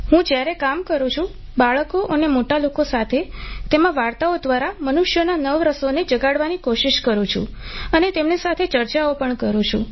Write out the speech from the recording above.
હું જ્યારે કામ કરું છું બાળકો અને મોટા લોકો સાથે તેમાં વાર્તાઓ દ્વારા મનુષ્યોના નવરસોને જગાડવાની કોશિષ કરું છું અને તેમની સાથે ચર્ચાઓ પણ કરું છું